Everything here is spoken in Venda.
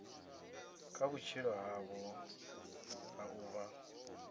kha vhutshilo havho ha ḓuvha